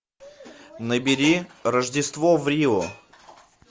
набери рождество в рио